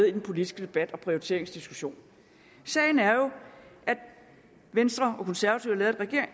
i den politisk debat og prioriteringsdiskussion sagen er jo at venstre og konservative